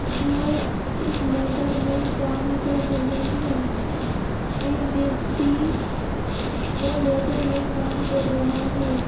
जो इस मोटर में काम कर रहे हैं एक व्यक्ति वो मोटर में काम कर रहा है।